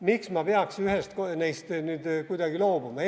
Miks ma peaks ühest neist nüüd kuidagi loobuma?